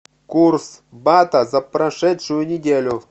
курс бата за прошедшую неделю